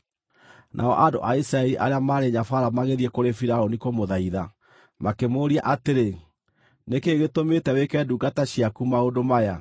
Nao andũ a Isiraeli arĩa maarĩ nyabaara magĩthiĩ kũrĩ Firaũni kũmũthaitha, makĩmũũria atĩrĩ: “Nĩ kĩĩ gĩtũmĩte wĩke ndungata ciaku maũndũ maya?